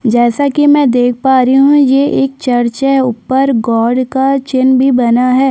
जैसा की मैं देख पा रही हूँ ये एक चर्च है ऊपर गॉड का चिन्ह भी बना है।